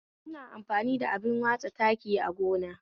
Ina amfani da abin watsa taki agona